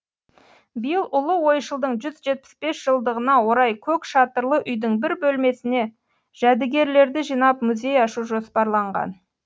биыл ұлы ойшылдың жүз жетпіс бес жылдығына орай көк шатырлы үйдің бір бөлмесіне жәдігерлерді жинап музей ашу жоспарланған